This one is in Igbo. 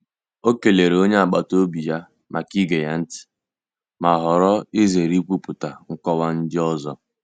O kelere onye agbata obi ya maka ige ya ntị, ma họọrọ izere ikwupụta nkọwa ndị ọzọ.